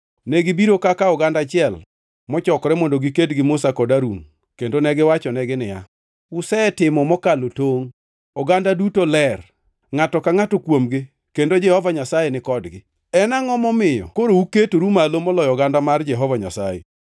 Negibiro kaka oganda achiel mochokore mondo giked gi Musa kod Harun kendo negiwachonegi niya, “Usetimo mokalo tongʼ! Oganda duto ler, ngʼato ka ngʼato kuomgi, kendo Jehova Nyasaye ni kodgi. En angʼo momiyo koro uketoru malo moloyo oganda mar Jehova Nyasaye?”